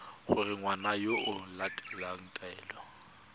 gore ngwana o latela taelo